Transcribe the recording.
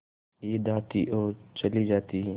ईद आती और चली जाती